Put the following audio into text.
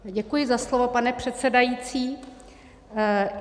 Děkuji za slovo, pane předsedající.